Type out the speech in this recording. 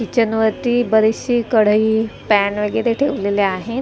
Kitchen वरती बरीचशी कढई पॅन वैगरे ठेवलेले आहेत.